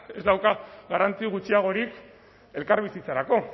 ez dauka garrantzia gutxiagorik elkarbizitzarako